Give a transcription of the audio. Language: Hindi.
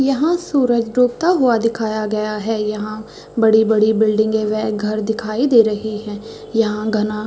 यहाँ सूरज डूबता हुआ दिखाया गया है यहाँ बड़ी-बड़ी बिल्डिंगे वह घर दिखाई दे रही है यहाँ घना--